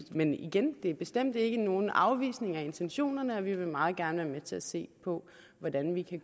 men igen det er bestemt ikke nogen afvisning af intentionerne og vi vil meget gerne være med til at se på hvordan vi kan